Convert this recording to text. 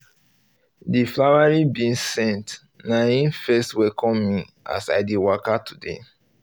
the um flowering beans scent na hin first welcome me as i dey waka today